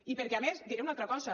i perquè a més diré una altra cosa